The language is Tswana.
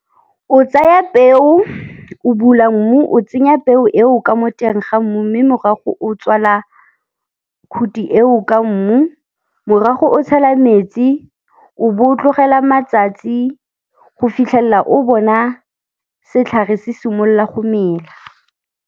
O tsaya peo, o bula mmu, o tsenya peo eo ka mo teng ga mmu, mme morago o tswala khuti eo ka mmu. Morago o tshela metsi o b'o tlogela matsatsi go fitlhelela o bona setlhare se simolola go mela.